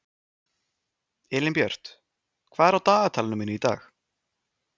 Elínbjört, hvað er á dagatalinu mínu í dag?